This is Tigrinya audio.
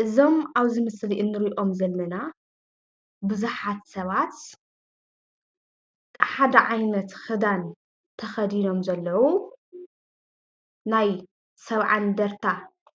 እዞም ኣብዚ ምስሊ እንሪኦም ዘለና ቡዙሓት ሰባት ሓደ ዓይነት ክዳን ተኸዲኖም ዘለዉ ናይ ሰብዓ እንድርታ